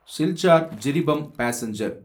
Silchar Jiribam passenger